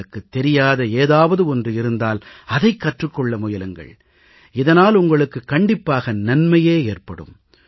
உங்களுக்குத் தெரியாத ஏதாவது ஒன்று இருந்தால் அதைக் கற்றுக் கொள்ள முயலுங்கள் இதனால் உங்களுக்கு கண்டிப்பாக நன்மையே ஏற்படும்